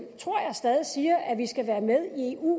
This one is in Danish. tror jeg stadig siger at vi skal være med i eu